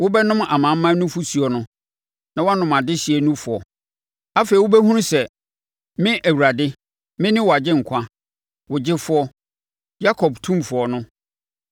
Wobɛnom amanaman nufosuo no na woanum adehyeɛ nufoɔ. Afei wobɛhunu sɛ me Awurade, me ne wo Agyenkwa, wo gyefoɔ, Yakob Otumfoɔ no.